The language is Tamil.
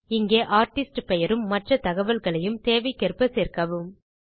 இங்கே ஆர்டிஸ்ட் பெயரும் மற்றத்தகவல்களையும் தேவைக்கேற்ப சேர்க்கவும்